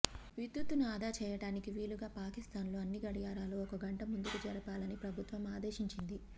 విద్యుత్తును ఆదా చేయడానికి వీలుగా పాకిస్తాన్ లో అన్ని గడియారాలు ఒక గంట ముందుకు జరుపాలని ప్రభుత్వం ఆదేశించింది